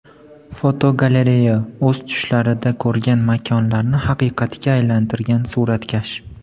Fotogalereya: O‘z tushlarida ko‘rgan makonlarni haqiqatga aylantirgan suratkash.